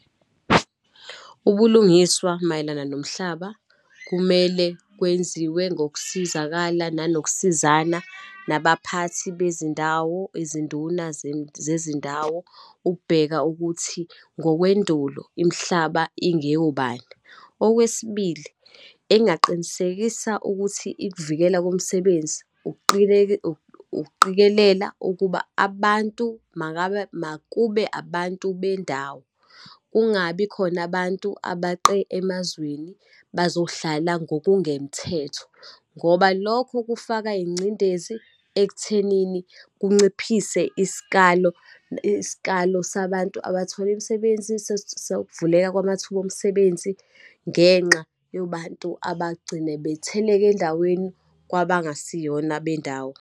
Ubulungiswa mayelana nomhlaba, kumele kwenziwe ngokusizakala, nanokusizana nabaphathi bezindawo, izinduna zezindawo, ukubheka ukuthi ngokwendulo imihlaba, ingeyobani. Okwesibili, engaqinisekisa ukuthi ikuvikela komsebenzi ukuqikelela ukuba abantu, makabe, makube abantu bendawo, kungabi khona abantu abaqe emazweni bazohlala ngokungemthetho, ngoba lokho kufaka ingcindezi ekuthenini kunciphise isikalo, isikalo sabantu abathola imisebenzi ukuvuleka kwamathuba omsebenzi, ngenxa yobantu abagcina betheleka endaweni kwabangasiyona abendawo.